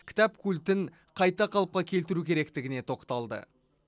кітап культін қайта қалыпқа келтіру керектігіне тоқталды